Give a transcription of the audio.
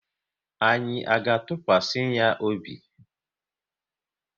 Anyị à ga atukwasinwu ya obi?